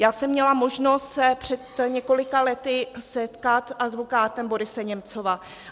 Já jsem měla možnost se před několika lety setkat s advokátem Borise Němcova.